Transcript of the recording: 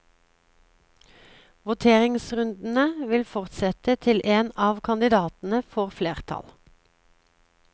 Voteringsrundene vil fortsette til en av kandidatene får flertall.